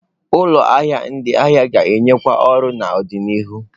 Ụlọ ahịa ịzụ ahịa ga-enyekwu ọrụ n'ọdịnihu.